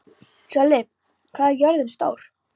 Sörli, hvað er jörðin stór?